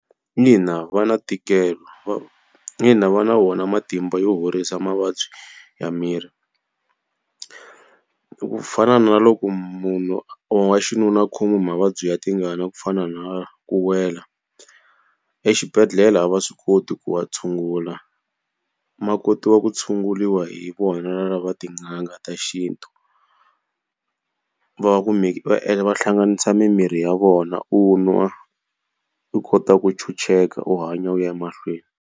Va na ntikelo mina va na wona matimba yo horisa mavabyi ya miri. Ku fana na loko munhu wa xinuna a khomiwa hi mavabyi ya tingana ku fana na ku wela, exibedhlele a va swi koti ku wa tshungula ma kotiwa ku tshunguriwa hi vona na lava tin'anga ta xintu. Va ku va va hlanganisa mimirhi ya vona u nwa, u kota ku ntshunxeka u hanya u ya emahlweni.